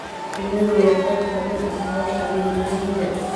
Shinnidu waa qayb ka mid ah nolosha beeralayda.